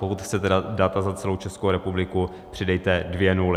Pokud chcete data za celou Českou republiku, přidejte dvě nuly.